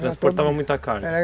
Transportava muita car?